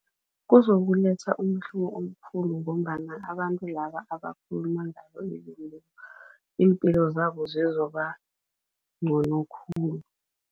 Kuzokuletha umehluko omkhulu ngombana abantu laba abakhuluma ngabo iimpilo zabo zizobangcono khulu.